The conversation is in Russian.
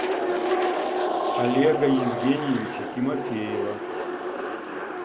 олега евгеньевича тимофеева